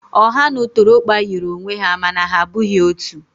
Ọha na ụtụrụkpa yiri onwe ha mana ha abụghị otu.